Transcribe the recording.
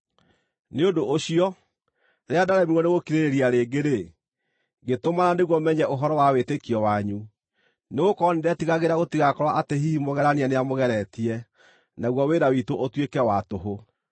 Nĩ ũndũ ũcio, rĩrĩa ndaremirwo nĩgũkirĩrĩria rĩngĩ-rĩ, ngĩtũmana nĩguo menye ũhoro wa wĩtĩkio wanyu. Nĩgũkorwo nĩndetigagĩra gũtigakorwo atĩ hihi mũgerania nĩamũgeretie, naguo wĩra witũ ũtuĩke wa tũhũ.